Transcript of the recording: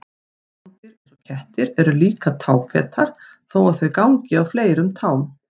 Rándýr eins og kettir eru líka táfetar þó að þau gangi á fleiri tám.